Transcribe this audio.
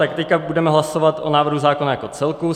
Tak teď budeme hlasovat o návrhu zákona jako celku.